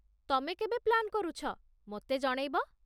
ତମେ କେବେ ପ୍ଲାନ୍ କରୁଛ, ମୋତେ ଜଣେଇବ